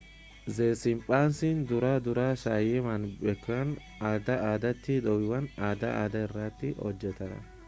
ze siimpsansi dura dura saayiman bakkeewwan adda addaatti do'iiwwan adda addaa irratti hojjeteera